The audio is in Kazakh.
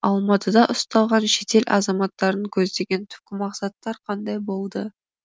алматыда ұсталған шетел азаматтарының көздеген түпкі мақсаттар қандай болды